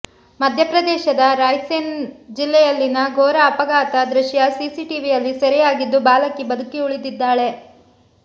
ಮಧ್ಯಪ್ರದೇಶದ ರಾಯ್ ಸೇನ್ ಜಿಲ್ಲೆಯಲ್ಲಿನ ಘೋರ ಅಪಘಾತ ದೃಶ್ಯ ಸಿಸಿಟಿವಿಯಲ್ಲಿ ಸೆರೆಯಾಗಿದ್ದು ಬಾಲಕಿ ಬದುಕಿ ಉಳಿದಿದ್ದಾಳೆ